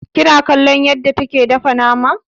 Kina kallon yadda take dafa nama?